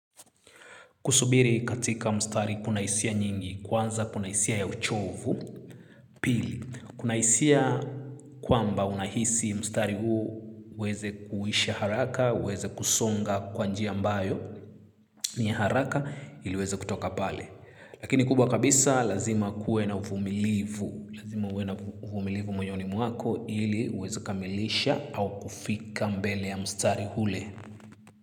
Kusubiri katika mstari kuna hisia nyingi, kwanza kuna hisia ya uchovu, pili. Kuna hisia kwamba unahisi mstari huo weze kuisha haraka, uweze kusonga kwa njia ambayo ni ya haraka ili weze kutoka pale. Lakini kubwa kabisa lazima kuwe na uvumilivu, lazima uwe na uvumilivu mwoyoni mwako ili uweze kukamilisha au kufika mbele ya mstari hule.